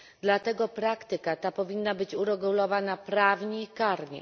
Dlatego praktyka ta powinna być uregulowana prawnie i karnie.